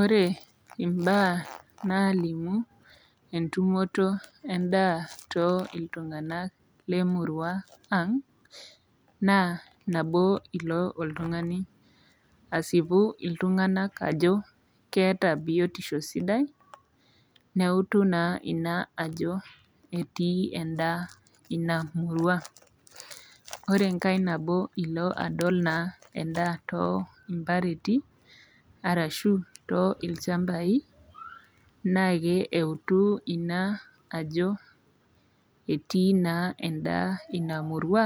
Ore imbaa naalimu entumoto endaa too iltung'anak lemurua ang' naa nabo ilo oltung'ani asipu iltung'anak ajo keata biotisho sidai neutu naa ina ajo etii endaa ina murua. Ore engai nabo ilo adol naa endaa too mpareti arashu too ilchambai naakee eutu ina ajo etii naa endaa ina murua